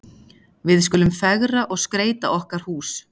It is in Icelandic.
Við skulum fegra og skreyta okkar hús.